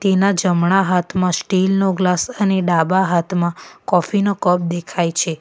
એના જમણા હાથમાં સ્ટીલનો ગ્લાસ અને ડાબા હાથમાં કોફી નો કપ દેખાય છે.